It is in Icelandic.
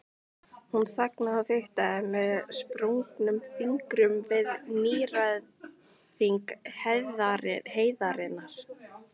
Hún þagnaði og fiktaði með sprungnum fingrum við nýgræðing heiðarinnar.